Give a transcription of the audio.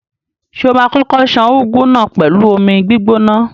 Ṣé o ma kókó ṣan úgú náà pẹ̀lú omi gbígbóná?